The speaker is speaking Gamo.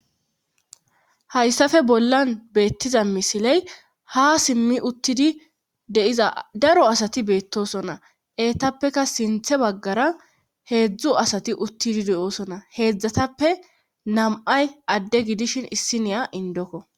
Hayssafe bollan beettiza misiley ha simmi uttidi deiza daro asati beettosona eetappeka sinthe baggara heedzdzu asati uttidi de7oosona heedzdzatappe nam7ay adde gidishin issiniya indokko